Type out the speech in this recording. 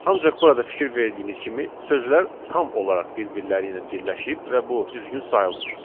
Ancaq burada fikir verdiyiniz kimi sözlər tam olaraq bir-birləri ilə birləşib və bu düzgün sayılmır.